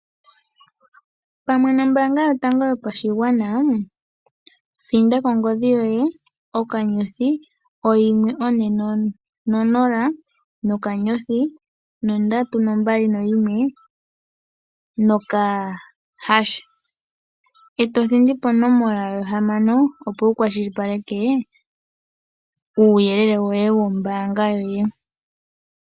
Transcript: Pamwe nombaanga yotango yopashigwana thinda kongodhi yoye *140*321# e to thindi ponomola hamano, opo wu kwashilipaleke uuyelele woye wombaanga yoye.